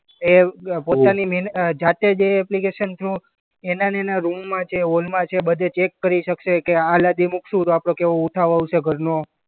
એ અ પોતાની મેહન અ જાતે જ એ એપ્લિકેશન થ્રુ એના ને એના રૂમમાં છે, હોલમાં છે બધે ચેક કરી શકશે કે આ મૂકશું તો આપણો કેવો ઉઠાવ આવશે ઘરનો.